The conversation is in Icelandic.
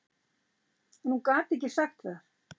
En hún gat ekki sagt það.